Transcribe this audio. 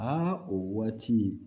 Aa o waati